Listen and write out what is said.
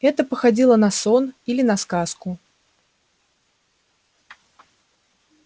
это походило на сон или на сказку